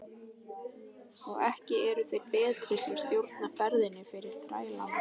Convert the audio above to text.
Og ekki eru þeir betri sem stjórna ferðinni fyrir þrælana.